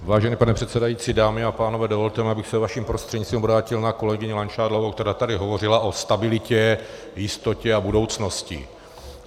Vážený pane předsedající, dámy a pánové, dovolte mi, abych se vaším prostřednictvím obrátil na kolegyni Langšádlovou, která tady hovořila o stabilitě, jistotě a budoucnosti.